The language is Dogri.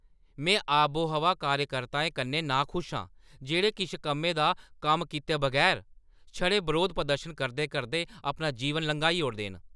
में आबोहवा कार्यकर्ताएं कन्नै नाखुश आं जेह्ड़े किश कम्मै दा कम्म कीते बगैर छड़े बरोध प्रदर्शन करदे-करदे अपना जीवन लंघाई ओड़दे न।